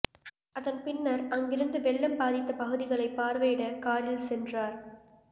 அதன்பின்னர் அங்கிருந்து வெள்ளம் பாதித்த பகுதிகளை பார்வையிட காரில் சென்றார்